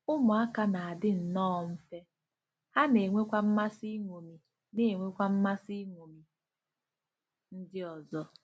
“Ụmụaka na-adị nnọọ mfe, ha na-enwekwa mmasị iṅomi na-enwekwa mmasị iṅomi ndị ọzọ.